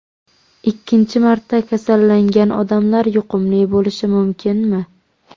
Ikkinchi marta kasallangan odamlar yuqumli bo‘lishi mumkinmi?